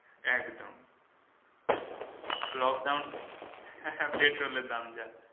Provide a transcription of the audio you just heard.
একদম lockdown হ্যাঁ petrol এর দাম যা